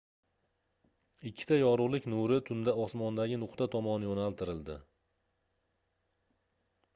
ikkita yorugʻlik nuri tunda osmondagi nuqta tomon yoʻnaltirildi